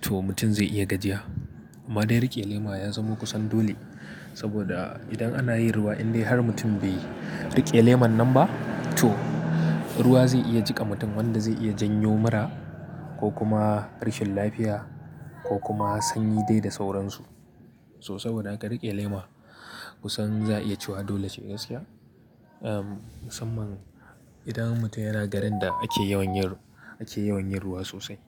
to mutum zai iya gajiya. Amma dai riƙe lema ya zama kusan dole saboda idan ana yi ruwa indai har mutum bai riƙe leman nan ba, to ruwa zai iya jiƙa mutum wanda zai iya janyo mura ko kuma rashin lafiya ko kuma sanyi dai da sauransu. To saboda haka riƙe lema kusan za a iya cewa dole ce gaskiya. Musamman idan mutum yana garin da ake yawan yin, ake yawan yin ruwa sosai.